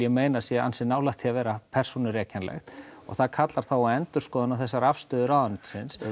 meina að sé ansi nálægt því að vera og það kallar þá á endurskoðun á þessari afstöðu ráðuneytisins